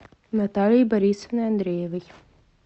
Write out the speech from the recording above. натальей борисовной андреевой